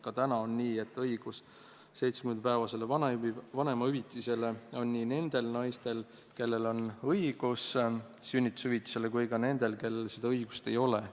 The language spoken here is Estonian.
Ka praegu on nii, et õigus 70-päevasele vanemahüvitisele on nii nendel naistel, kellel on õigus sünnitushüvitisele, kui ka nendel, kellel seda õigust ei ole.